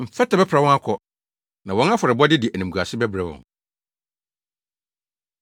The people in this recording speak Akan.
Mfɛtɛ bɛpra wɔn akɔ, na wɔn afɔrebɔ de animguase bɛbrɛ wɔn.